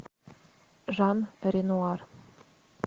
жан ренуар